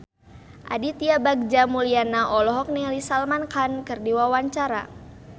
Aditya Bagja Mulyana olohok ningali Salman Khan keur diwawancara